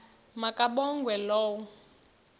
ma kabongwe low